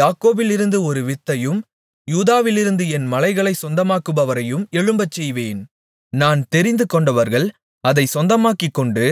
யாக்கோபிலிருந்து ஒரு வித்தையும் யூதாவிலிருந்து என் மலைகளைச் சொந்தமாக்குபவரையும் எழும்பச்செய்வேன் நான் தெரிந்துகொண்டவர்கள் அதைச் சொந்தமாக்கிக்கொண்டு